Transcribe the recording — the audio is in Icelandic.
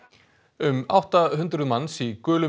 um átta hundruð manns í gulum